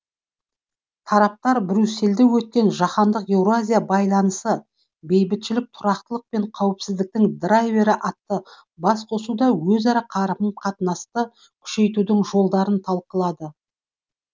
тараптар брюссельде өткен жаһандық еуразия байланысы бейбітшілік тұрақтылық пен қауіпсіздіктің драйвері атты басқосуда өзара қарым қатынасты күшейтудің жолдарын талқылады